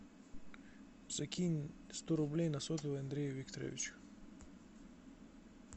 закинь сто рублей на сотовый андрею викторовичу